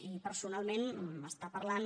i personalment m’està parlant